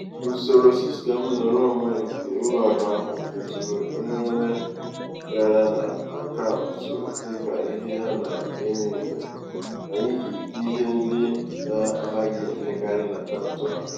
usoro sistem nrụrụonwe nke ụlọakụ ahụ feturu emereme gara n'akaụntụ dịka ihe a na-enyo enyo n'ihi ihe ndị na-anaghị emekarị n'akaụntụ ahụ.